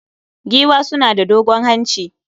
Giwa suna da dogon hanci